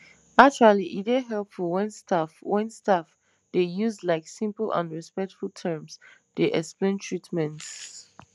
actually e dey helpful wen staff wen staff dey use like simple and respectful terms dey explain treatments